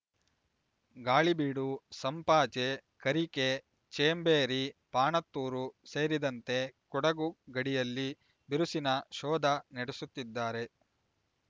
ಗಾಳಿಬೀಡು ಸಂಪಾಜೆ ಕರಿಕೆ ಚೇಂಬೇರಿ ಪಾಣತ್ತೂರು ಸೇರಿದಂತೆ ಕೊಡಗು ಗಡಿಯಲ್ಲಿ ಬಿರುಸಿನ ಶೋಧ ನಡೆಸುತ್ತಿದ್ದಾರೆ